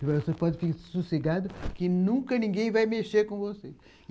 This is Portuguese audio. Ele falou, você pode ficar sossegado que nunca ninguém vai mexer com você.